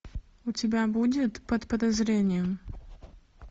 у тебя будет под подозрением